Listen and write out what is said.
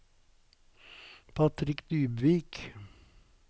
Patrick Dybvik